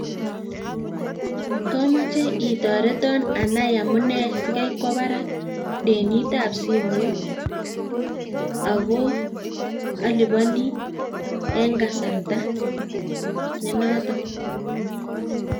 Komoche itoreton anai amune sikaikwo barak besendab simoit, ako aliponi en kasarta nenoton